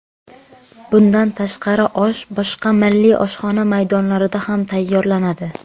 Bundan tashqari osh boshqa milliy oshxona maydonlarida ham tayyorlanadi.